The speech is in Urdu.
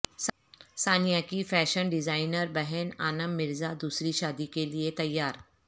ثانیہ کی فیشن ڈیزائنربہن انعم مرزا دوسری شادی کیلئے تیار